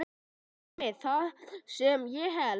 Einmitt það sem ég hélt.